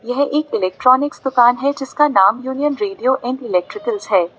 यह एक इलेक्ट्रॉनिक्स दुकान है जिसका नाम यूनियन रेडियो एंड इलेक्ट्रिकल्स है।